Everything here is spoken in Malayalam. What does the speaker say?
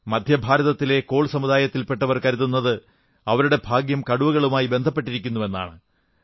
മധ്യഭാരതത്തിലെ കോൾ സമുദായത്തിൽപെട്ടവർ കരുതുന്നത് അവരുടെ ഭാഗ്യം കടുവകളുമായി ബന്ധപ്പെട്ടിരിക്കുന്നുവെന്നാണ്